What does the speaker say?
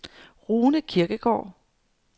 Rune Kirkegaard